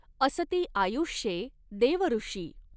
असती आयुष्ये देवऋषि।